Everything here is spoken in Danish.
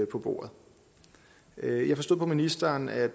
på bordet jeg forstod på ministeren at